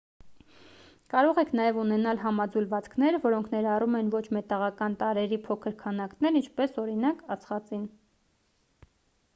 կարող եք նաև ունենալ համաձուլվածքներ որոնք ներառում են ոչ մետաղական տարրերի փոքր քանակներ ինչպես օրինակ ածխածին